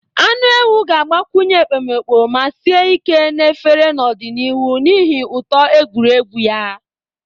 Anụ ewu ga-agbakwunye ekpomeekpo ma sie ike na efere n'ọdịnihu n'ihi ụtọ egwuregwu ya.